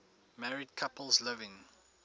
married couples living